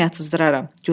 Sonra özüm yatızdıraram.